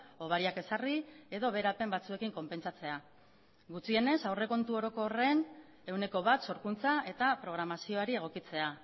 hobariak ezarri edo beherapen batzuekin konpentsatzea gutxienez aurrekontu orokorren ehuneko bat sorkuntza eta programazioari egokitzea